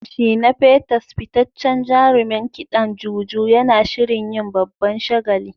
Shina Peters, fitaccen jarumin kidan Juju, yana shirin yin babban shagali.